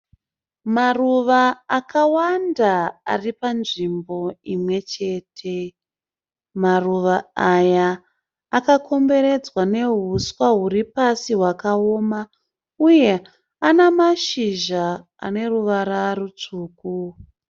Maruva akawanda ari panzvimbo imwechete. Maruva aya akakomberedzwa nehuswa huri pasi hwakaoma uye ane mashizha ane ruvara rutsvuku.